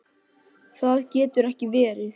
Það getur ekki verið